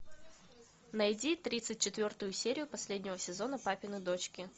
найди тридцать четвертую серию последнего сезона папины дочки